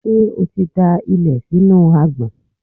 Ṣé o ti da ilẹ̀ sínú agbọ̀n?